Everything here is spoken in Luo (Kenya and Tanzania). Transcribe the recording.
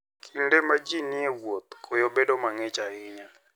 Kinde ma ji ni e wuoth, koyo bedo mang'ich ahinya.